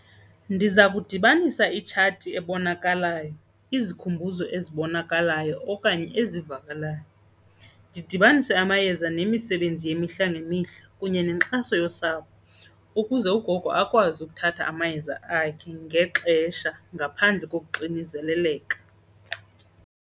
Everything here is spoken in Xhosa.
Ndiza kudibanisa itshati ebonakalayo, izikhumbuzo ezibonakalayo okanye ezivakalayo. Ndidibanise amayeza nemisebenzi yemihla mihla ngemihla kunye nenkxaso yosapho ukuze ugogo akwazi ukuthatha amayeza akhe ngexesha ngaphandle kokuxinzeleleka.